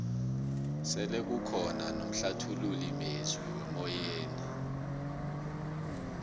sele kukhona nomhlathululi mezwi wemoyeni